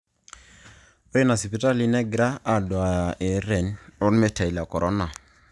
Ore ina sipitalini negira aduaya ererren ormeitai le Corona